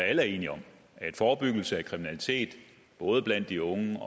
alle er enige om forebyggelse af kriminalitet både blandt de unge